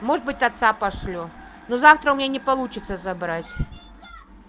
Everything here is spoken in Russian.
может быть отца пошлю но завтра у меня не получиться забрать